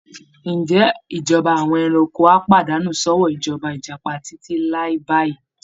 Ǹjẹ́ ìjọba àwọn ẹranko á pàdánù sọ́wọ́ ìjọba Ìjàpá títí láé báyìí?